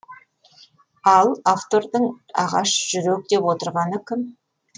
ал автордың ағаш жүрек деп отырғаны кім